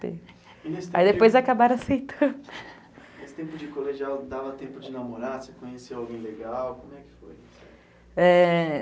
Nesse tempo de colegial, dava tempo de namorar, você conhecia alguém legal, como é que foi? é...